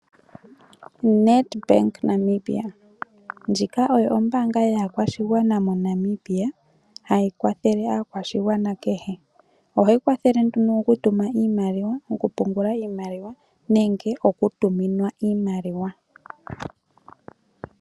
Nedbank Namibia, ndjika Ombaanga yaakwashigwana moNamibia ohayi kwathele aakwashigwana kehe . Ohayi kwathele oku tuma iimaliwa , oku pungula iimaliwa nenge oku tuminwa iimaliwa.